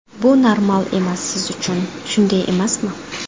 Bu normal emas siz uchun, shunday emasmi?